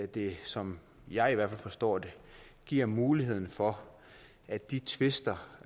det som jeg i hvert fald forstår det giver muligheden for at de tvister